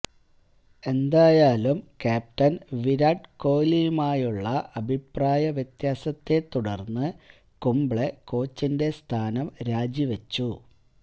എന്തായാലും ക്യാപ്റ്റൻ വിരാട് കോലിയുമായുള്ള അഭിപ്രായ വ്യത്യാസത്തെ തുടർന്ന് കുംബ്ലെ കോച്ചിന്റെ സ്ഥാനം രാജിവെച്ചു